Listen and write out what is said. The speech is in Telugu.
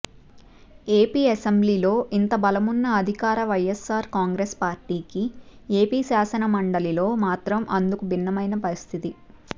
ఏపీ అసెంబ్లీలో ఇంత బలమున్న అధికార వైఎస్సార్ కాంగ్రెస్ పార్టీకి ఏపీ శాసన మండలిలో మాత్రం అందుకు భిన్నమైన పరిస్థితి